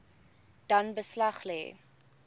dan beslag lê